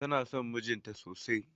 Tana son mijin ta sosai.